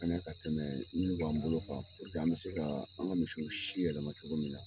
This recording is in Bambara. Ka ɲe ka tɛmɛ minnu b'an bolo an bi se ka an ka misiw si yɛlɛma cogo min na.